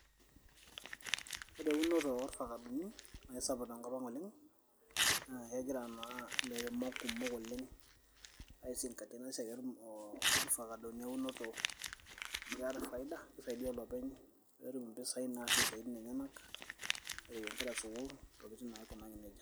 Ore eunoto orfakadoni, na aisapuk tenkop ang' oleng',na kegira naa ilairemok kumok oleng' aisingatia enasiai ofakadoni eunoto, amu keeta faida, kisaidia olopeny netum impisai naasie isiaitin enyanak, nereyie nkera sukuul, ntokiting naikunari nejia.